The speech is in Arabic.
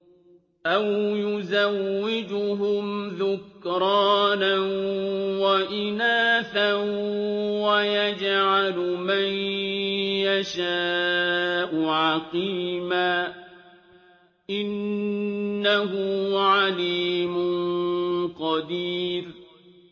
أَوْ يُزَوِّجُهُمْ ذُكْرَانًا وَإِنَاثًا ۖ وَيَجْعَلُ مَن يَشَاءُ عَقِيمًا ۚ إِنَّهُ عَلِيمٌ قَدِيرٌ